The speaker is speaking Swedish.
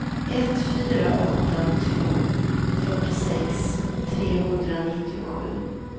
ett fyra åtta två fyrtiosex trehundranittiosju